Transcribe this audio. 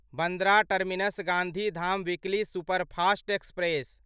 Bandra terminus Gandhidham weekly superfast express